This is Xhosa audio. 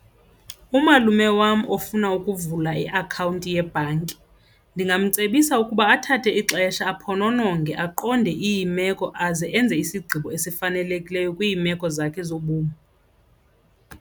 Umalume wam ofuna ukuvula iakhawunti yebhanki ndingamcebisa ukuba athathe ixesha aphononongwe aqonde iimeko aze enze isigqibo esifanelekileyo kwiimeko zakhe zobomi.